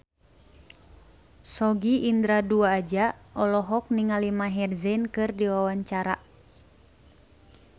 Sogi Indra Duaja olohok ningali Maher Zein keur diwawancara